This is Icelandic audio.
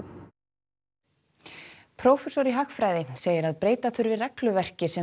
prófessor í hagfræði segir að breyta þurfi regluverki sem